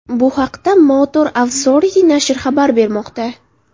Bu haqda Motor Authority nashri xabar bermoqda .